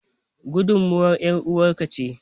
Gudumar ƴaruwar ka ce.